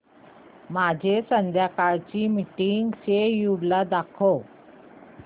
माझे संध्याकाळ चे मीटिंग श्येड्यूल दाखव